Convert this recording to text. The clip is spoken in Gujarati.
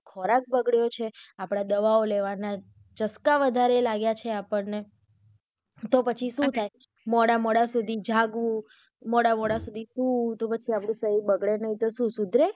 ખોરાક બગડ્યું છે આપડા દવાઓ લેવના ચસકા વધારે લાગ્યા છે આપણને તો પછી શું થાય મોડા-મોડા સુધી જાગવું મોડા-મોડા સુધી સૂવું તો પછી આપણું શરીર બગડે નહિ તો શું સુધરે.